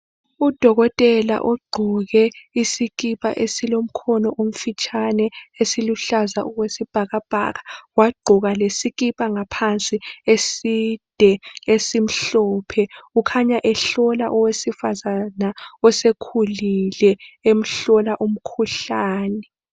Udokotela ogqoke isikipa esilomkhona omfitshane esiluhlaza okwesibhaka bhaka wagqoka lesikipa ngaphansi eside esimhlophe ukhanya ehlola owesifazane osekhulile emhlola umkhuhlane.